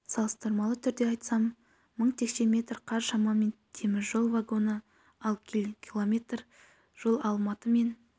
салыстырмалы түрде айтсам мың текше метр қар шамамен темір жол вагоны ал километр жол алматы мен